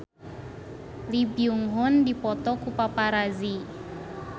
Lee Byung Hun dipoto ku paparazi